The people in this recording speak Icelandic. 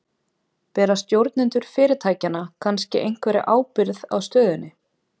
Bera stjórnendur fyrirtækjanna kannski einhverja ábyrgð á stöðunni?